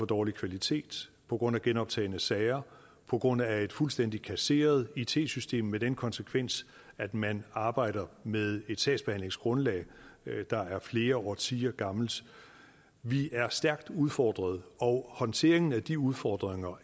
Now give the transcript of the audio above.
dårlig kvalitet på grund af genoptagne sager og på grund af et fuldstændig kasseret it system haft den konsekvens at man arbejder med et sagsbehandlingsgrundlag der er flere årtier gammelt vi er stærkt udfordret og håndteringen af de udfordringer